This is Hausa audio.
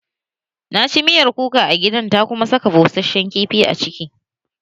Na ci miyar kuka a gidan ta kuma saka bushashen kifi a ciki